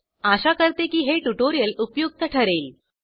आशा करते की हे ट्यूटोरियल उपयुक्त ठरेल